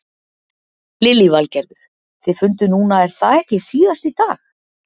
Lillý Valgerður: Þið funduð núna er það ekki síðast í dag?